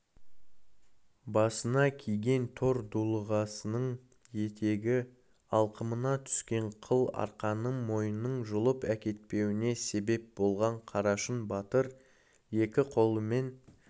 басына киген тор дулығасының етегі алқымына түскен қыл арқанның мойнын жұлып әкетпеуіне себеп болған қарашың батыр екі қолымен